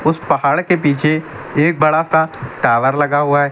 पहाड़ के पीछे एक बड़ा सा टावर लगा हुआ है।